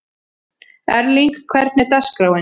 Erling, hvernig er dagskráin?